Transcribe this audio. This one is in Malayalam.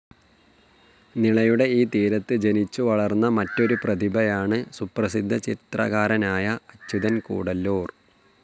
നിളയുടെ ഈ തീരത്ത് ജനിച്ചുവളർന്ന മറ്റൊരു പ്രതിഭയാണ് സുപ്രസിദ്ധ ചിത്രകാരനായ അച്യുതൻ കൂടല്ലൂർ.